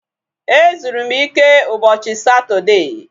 Ezuru m ike ụbọchị Satọdee